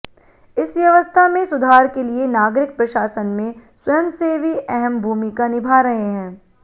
इस व्यवस्था में सुधार के लिए नागरिक प्रशासन में स्वयंसेवी अहम भूमिका निभा रहे हैं